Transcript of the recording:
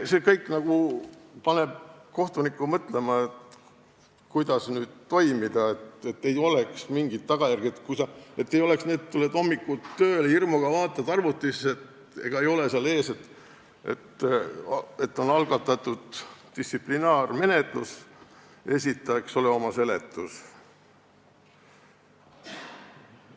See kõik paneb kohtuniku mõtlema, kuidas toimida, et ei oleks mingit tagajärge, et ei oleks nii, et tuled hommikul hirmuga tööle, vaatad arvutisse, ega ei ole seal kirja, et on algatatud distsiplinaarmenetlus ja esita, eks ole, oma seletus.